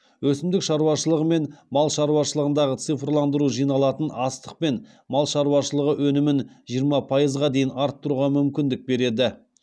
өсімдік шаруашылығы мен мал шаруашылығындағы цифрландыру жиналатын астық пен мал шаруашылығы өнімін жиырма пайызға дейін арттыруға мүмкіндік береді